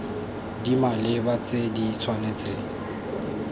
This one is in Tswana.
di maleba tse di tshwanetseng